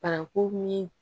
Paraku min